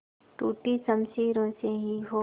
टूटी शमशीरों से ही हो